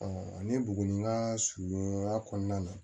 ne buguni ka surunya kɔnɔna na